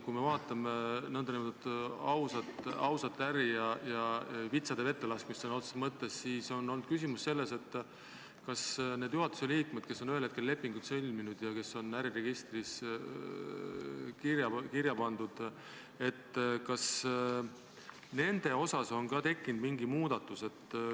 Kui me vaatame nn ausat äri ja vitsade vette kadumist sõna otseses mõttes, siis on olnud küsimus, kas nende juhatuse liikmete puhul, kes on lepingud sõlminud ja kes on äriregistris kirja pandud, on tehtud ka mingi muudatus.